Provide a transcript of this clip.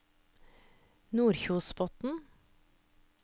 Nordkjosbotn